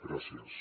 gràcies